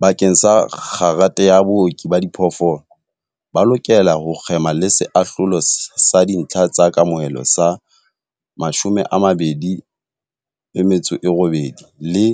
Bakeng sa kgerata ya Booki ba Diphoofolo, ba lokela ho kgema le Seahlolo sa Dintlha tsa Kamohelo sa 28 le